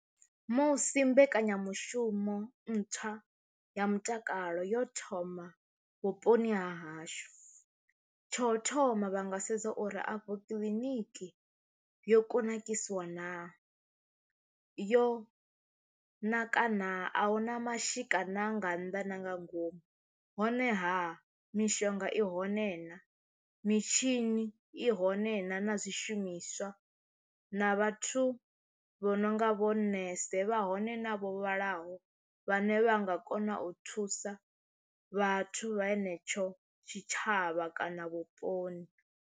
Musi mbekanyamushumo ntswa ya mutakalo yo thoma vhuponi ha hashu tsho thoma vha nga sedza uri afho kiḽiniki yo kunakisiwa naa yo nakana a huna mashika na nga nnḓa na nga ngomu, honeha mishonga i hone na mitshini i hone naa na zwishumiswa na vhathu vho no nga vho nnese vha hone na vho vhalaho vhane vha nga kona u thusa vhathu vha henetsho tshitshavha kana vhuponi.